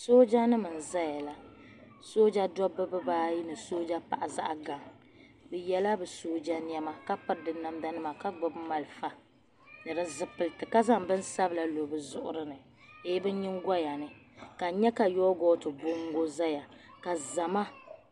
Soojanim n ʒayala, soja dobi bi ba ayi ni sojɛ paɣa yinɔ bɛ yela bi sɔjɛ nema kapiri bi namda nima ka gbubi malifa ni di zipiliti. ka zaŋ bi nsabila ni lɔ bɛ zuɣurini. ni bi nyiŋgoyani. ka n nya ka yoogot bɔŋgo ʒaya, ka zama